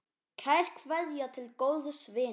Kær kveðja til góðs vinar.